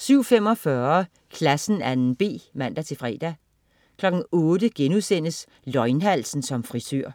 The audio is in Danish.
07.45 Klassen 2.b man-fre) 08.00 Løgnhalsen som frisør*